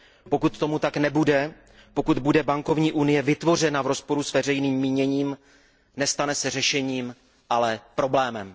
Pokud tomu tak nebude, pokud bude bankovní unie vytvořena v rozporu s veřejným míněním, nestane se řešením, ale problémem.